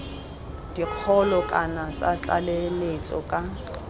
dikgolo kana tsa tlaleletso ka